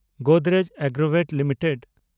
Godrej Agrovet limited